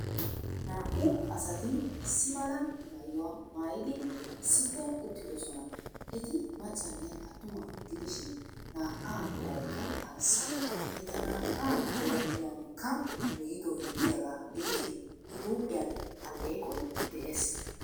Naa''u asati Issi mala maayuwa maayidi issippe uttidoosona. Eti maccanne attuma gidishin, naa''aa meraykka arssa. Eta naa''aa biradhdhiyankka migidoy de'iyaaga gidishin, I huuphiyan alleeqoy de'ees.